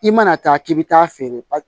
I mana taa k'i bi taa feere